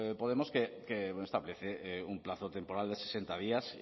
podemos que establece un plazo temporal de sesenta días